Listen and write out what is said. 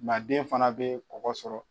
Manden fana bɛ kɔgɔ sɔrɔ.